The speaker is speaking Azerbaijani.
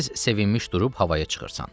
Tez sevinmiş durub havaya çıxırsan.